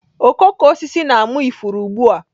Okooko osisi na-ama ifuru ugbu a.